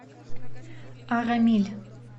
арамиль